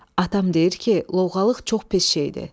Atam deyir ki, lovğalıq çox pis şeydir.